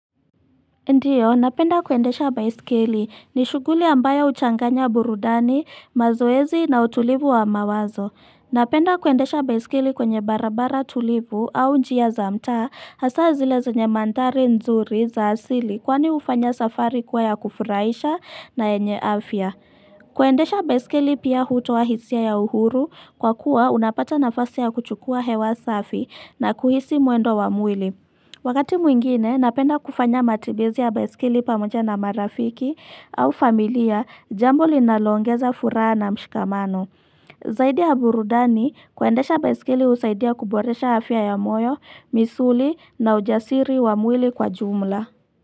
Ndiyo, napenda kuendesha baisikeli ni shuguli ambayo uchanganya burudani, mazoezi na utulivu wa mawazo. Napenda kuendesha baisikili kwenye barabara tulivu au njia za mta hasa zile zonye mantari nzuri za asili kwani ufanya safari kwa ya kufuraisha na enye afya. Kuendesha baisikeli pia utoa hisia ya uhuru kwa kuwa unapata nafasi ya kuchukua hewa safi na kuhisi muendo wa mwili. Wakati mwingine, napenda kufanya matibizi ya baisikili pamoja na marafiki au familia jambo linalongeza furaha na mshikamano. Zaidi aburudani kuendesha baisikeli usaidia kuboresha afya ya moyo, misuli na ujasiri wa mwili kwa jumla.